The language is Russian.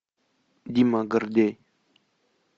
дима гордей